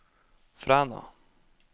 Fræna